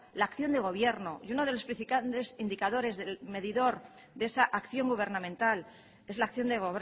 la acción de gobierno y uno de los principales indicadores del medidor de esa acción gubernamental es la acción de